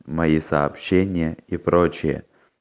мои сообщения и прочее